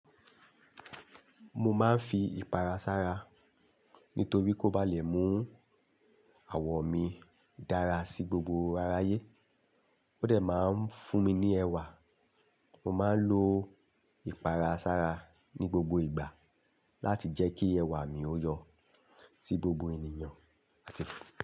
Mo máa ń fi ìpara sára nítorí kó ba lè mú àwọ̀ mi dára sí gbogbo aráyé. Ó dẹ̀ máa ń fún mi ní ẹwà. Mo máa ń lo ìpara sára ní gbogbo ìgbà láti jẹ́ kí ẹwà mi ó yọ sí gbogbo ènìyàn.